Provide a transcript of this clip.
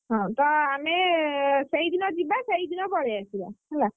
ହଁ ତ ଆମେ ସେଇଦିନ ଯିବା ସେଇଦିନ ପଳେଇ ଆସିବା ହେଲା।